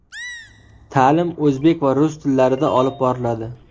Ta’lim o‘zbek va rus tillarida olib boriladi.